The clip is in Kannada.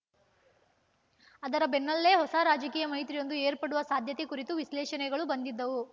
ಅದರ ಬೆನ್ನಲ್ಲೇ ಹೊಸ ರಾಜಕೀಯ ಮೈತ್ರಿಯೊಂದು ಏರ್ಪಡುವ ಸಾಧ್ಯತೆ ಕುರಿತು ವಿಶ್ಲೇಷಣೆಗಳು ಬಂದಿದ್ದವು